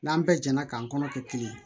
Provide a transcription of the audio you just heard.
N'an bɛɛ jɛnna k'an kɔnɔ kɛ kelen ye